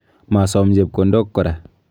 Masom chepkondok kora.